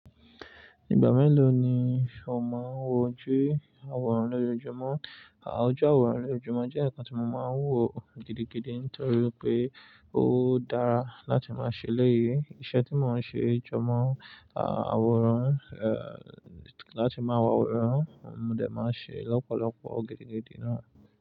Ìgbà mélòó ni ò máa ń wọjú àwòrán lójoojúmọ́? Oju àwòrán lójoojúmọ́ jẹ́ ǹkan tí mo máa ń wò gidigidi nítorí pé ó dára láti máa ṣe eléyìí. Iṣẹ́ tí mo ń ṣe jọ mọ́ àwòrán, eh, láti máa wo àwòrán, mo dẹ̀ máa ń ṣee lọ́pọ̀lọpọ̀ gidigidi náà.